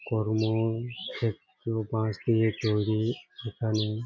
কর্ম একটু বাঁশের দিয়ে তৈরী এখানে --